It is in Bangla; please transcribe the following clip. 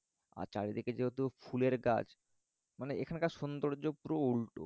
আর চারিদিকে যেহেতু ফুলের গাছ মানে এখানকার সৌন্দর্য পুরো উল্টো